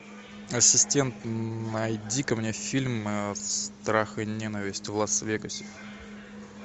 ассистент найди ка мне фильм страх и ненависть в лас вегасе